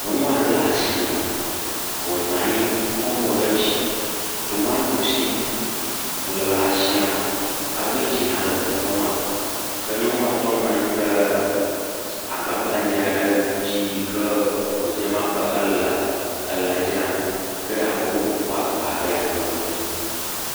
Nyɔnu aɖe le atsi me, wònɔ anyi kɔ mo ɖe dzi, tomototsi le atsia me, kabedzi hã le teƒe ma, ke ŋutɔ nɔ anyi ɖe agba gbadzɛ aɖe dzi yike wòdze me abe ele lã dzram, ke ame bubu kɔ agba be yeaƒlẽ nu.